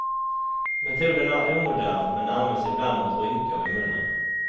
Metoden är omodern, men används ibland mot rynkor vid munnen.